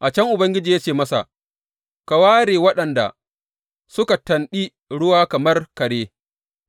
A can Ubangiji ya ce masa, Ka ware waɗanda suka tanɗi ruwa kamar kare